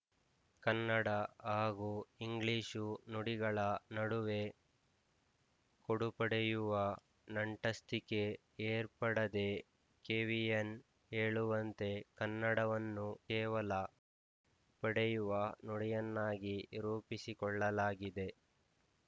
ಕನ್ನಡ ಹಾಗೂ ಇಂಗ್ಲಿಶು ನುಡಿಗಳ ನಡುವೆ ಕೊಡುಪಡೆಯುವ ನಂಟಸ್ತಿಕೆ ಏರ್ಪಡದೇ ಕೆವಿಎನ್ ಹೇಳುವಂತೆ ಕನ್ನಡವನ್ನು ಕೇವಲ ಪಡೆಯುವ ನುಡಿಯನ್ನಾಗಿ ರೂಪಿಸಿಕೊಳ್ಳಲಾಗಿದೆ